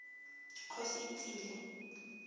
kgosietsile